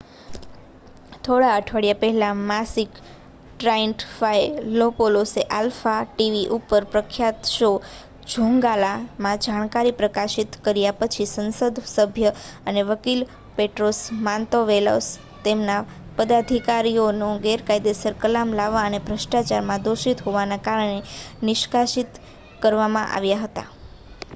"થોડા અઠવાડિયા પહેલા માકીસ ટ્રાઇન્ટફાયલોપોલોસએ આલ્ફા ટી. વી. ઉપર તેમના પ્રખ્યાત શો "ઝોંગલા" માં જાણકારી પ્રકાશિત કર્યા પછી સંસદસભ્ય અને વકીલ પેટ્રોસ માંતોવેલોસ તેમના પદાધિકારીઓનો ગેરકાયદેસર કલામ લાવવા અને ભ્રષ્ટાચારમાં દોષિત હોવાના કારણે નિષ્કાશીત કરવામાં આવ્યા હતા.